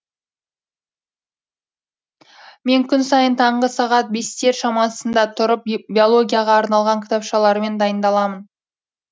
мен күн сайын таңғы сағат бестер шамасында тұрып биологияға арналған кітапшалармен дайындаламын